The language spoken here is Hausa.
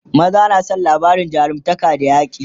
maza na San labarin jarumtaka da yaƙi